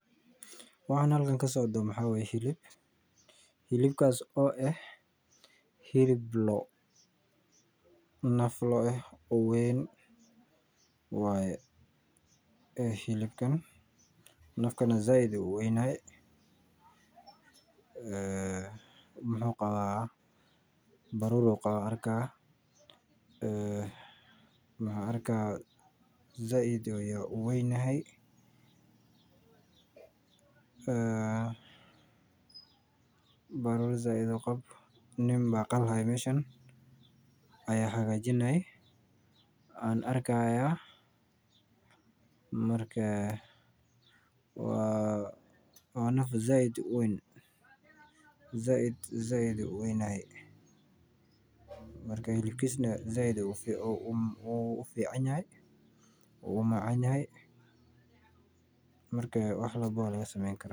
Waxaan halkan kasocdo waa hilib oo ah hilib loo ah naf loo ah oo weyn waye hilibkan nafkan sait ayuu uweyn yahay baruur ayuu qabaa nin ayaa qali haaya oo hagajini haya waa naf sait uweyn marka hilibkiisa sait ayuu ufican yahay oo uu umacan yahay wax walbo ayaa laga sameen karaa.